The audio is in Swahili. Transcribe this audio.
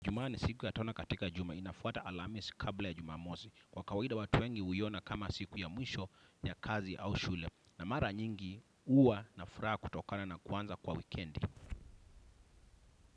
Jumaa ni siku ya tano katika juma inafuata alhamisi kabla ya jumamosi. Kwa kawaida watu wengi huiona kama siku ya mwisho ya kazi au shule. Na mara nyingi huwa na furaha kutokana na kuanza kwa wikendi.